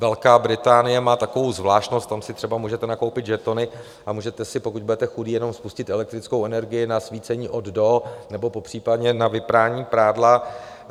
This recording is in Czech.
Velká Británie má takovou zvláštnost, tam si třeba můžete nakoupit žetony a můžete si, pokud budete chudí, jenom spustit elektrickou energii na svícení od - do nebo popřípadě na vyprání prádla.